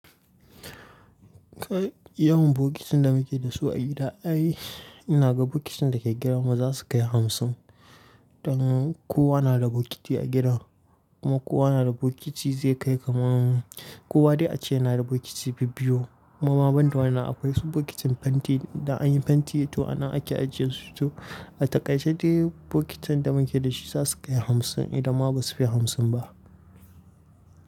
Kai yawan bokitin da muke da su a gida, ai ina ga bokitin da ke gidanmu za su kai hamsin. Dan kowa na da bokiti a gidan, kuma kowa na da bokiti zai kai kaman. Kowa dai a ce na da bokiti bibbiyu. Kuma ma banda wanna akwai su bokitin fenti idan an yi fenti, to anan ake ajiye su. To a takaice dai bokitan da muke da shi za su kai hamsin idan ma ba su fi hamsin ba.